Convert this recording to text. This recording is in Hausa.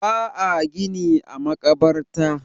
ba a gini a makabarta